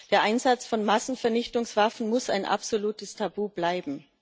Der Einsatz von Massenvernichtungswaffen muss ein absolutes Tabu bleiben.